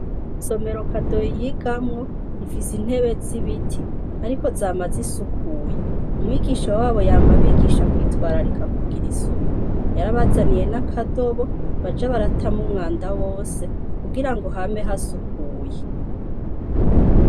Isomero Kadoyi yigamwo ,ifise intebe zibiti ,ariko zama zisukuye. Umwigisha wabo yama abigisha kwitwararika kugira isuku. Yarabazaniye n'akadobo baja baratamwo umwanda wose kugirango hame hasukuye.